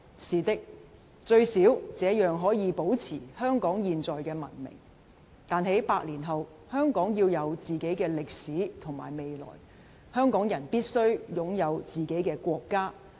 是的，最少這樣可以保持香港現在的文明，但在百年後，香港要有自己的歷史與未來，香港人必須擁有自己的國家。